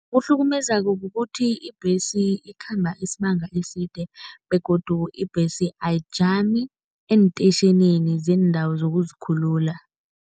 Kuhlukumeza kukuthi ibhesi ikhamba isibanga eside begodu ibhesi ayijami eentetjhinini zeendawo zokuzikhulula.